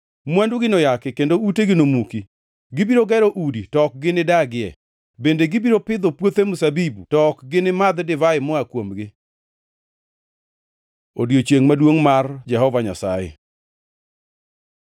Mwandugi noyaki kendo utegi nomuki. Gibiro gero udi, to ok ginidagie, bende gibiro pitho puothe mzabibu to ok gini madh divai moa kuomgi.” Odiechiengʼ maduongʼ mar Jehova Nyasaye